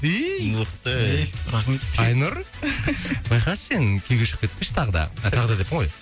иии мықты айнұр байқашы сен күйеуге шығып кетпеші тағы да тағы да деппін ғой